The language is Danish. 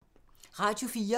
Radio 4